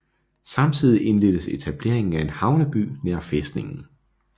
Samtidig indledtes etableringen af en havneby nær fæstningen